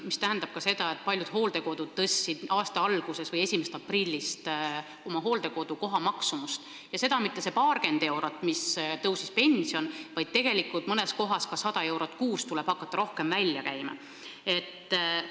See tähendab ka seda, et paljud hooldekodud tõstsid aasta alguses või 1. aprillist oma hooldekodukoha maksumust, ja mitte see paarkümmend eurot, nagu on pensionitõus, vaid mõnes kohas tuleb hakata rohkem välja käima 100 eurot kuus.